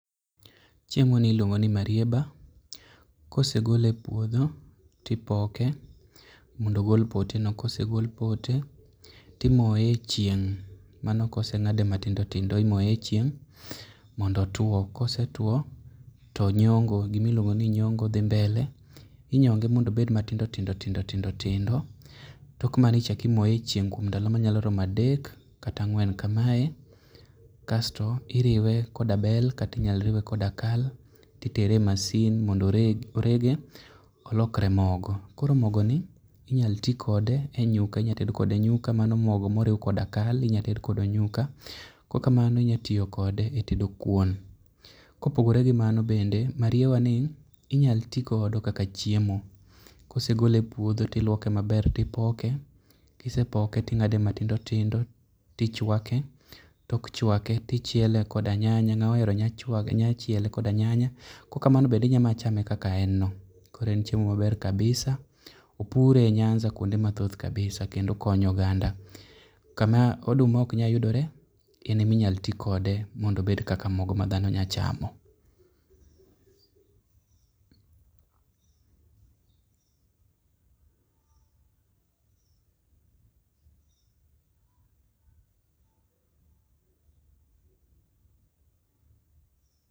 Chiemoni iluongo ni marieba. Ka osegole e puodho to ipoke mondo ogol poteno kosegol pote to imoye e chieng' mano kose ng'ade matindo tindo imoye e chieng' mondo otuo. Ka osetuo to nyongo gima iluongo ni nyongo dhi mbele. Inyonge mondo obed matindo tindo tindo tindo tindo tok mano ichako imoye e chieng' e ndalo ma nyalo romo adek kata ang'wen kamae kasto iriwe koda bel kata inyalo riwe koda kal to itere e masin mondo oreg orege e mondo olokre mogo. Koro mogoni inyalo ti kode e nyuka inyalo tedo kode nyuka manyo mogo moriw koda kal inyalo ted kode nyuka. Ka ok kamano inyalo tiyo kode etedo kuon. Kopogore gi mani mariewani inyalo ti kode kaka chiemo. Ka osegole e puodho to iluoke maber to ipoke. Ka osepoke to ing'ade matindo tindo to ichuake, tok chuake to ichiele koda nyanya ngama ohero nyanya nyalo chiele koda nyanya kaok kamano be inyalo mana chame kaka en no. Koro en chiemo maber kabisa. Opure nyansa kuonde mathoth kabisa kendo okonyo oganda. Kama oduma ok nyal yudore en ema inyalo ti kode mo do obed kaka mogoma dhano nyalo chamo.